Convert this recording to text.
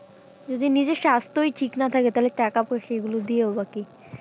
যদি নিজের স্বাস্থই ঠিক না থাকে তাহলে টাকা পয়সা এগুলো দিয়ে হবেও বা কী?